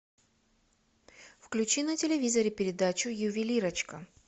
включи на телевизоре передачу ювелирочка